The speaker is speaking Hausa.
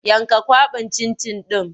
Yanka kwaɓin cin-cin ɗin!